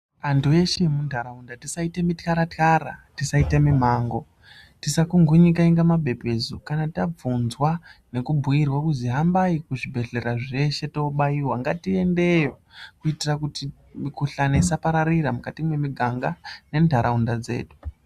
Antu eshe emunharaunda tisaite mityaratyara, tisaite mimango ,tisakungunyika inga mapepesu kana tabvunzwa nekubhuyirwa kuzi hambai kuzvibhehleya zveshe toobaiwa ngatiendeyo kuitira kuti mikhuhlani isapararira mukati mwemiganga nenharaunda dzedu.